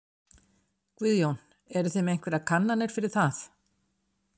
Guðjón: Eruð þið með einhverjar kannanir fyrir það?